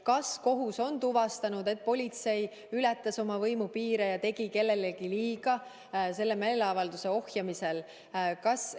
Kas kohus on tuvastanud, et politsei ületas oma võimupiire ja tegi kellelegi selle meeleavalduse ohjamisel liiga?